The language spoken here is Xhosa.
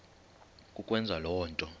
kukwenza le nto